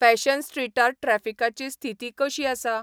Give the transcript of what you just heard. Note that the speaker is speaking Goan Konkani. फॅशन स्ट्रीटार ट्रॅफिकाची स्थीति कशी आसा?